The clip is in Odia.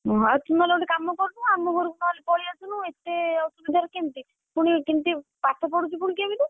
ହଁ ତୁ ତାହେଲେ ଗୋଟେ କାମ କରୁନୁ, ଆମ ଘରକୁ ନହେଲେ ପଳେଇ ଅସୁନୁ, ଏତେ ଅସୁବିଧାରେ କେମିତି ଯିବୁ? ଏତେ ଅସୁବିଧା ରେ କେମିତି, ପୁଣି କେମତି ପାଠପଢୁଛୁ ପୁଣି କେମତି?